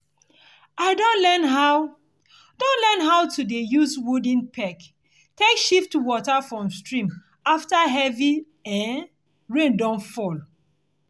i don learn how don learn how to dey use wooden peg take shift water from stream after heavy um rain don fall